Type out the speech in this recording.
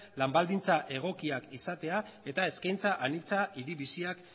lan baldintza egokiak izatea eta eskaintza anitza hiri biziak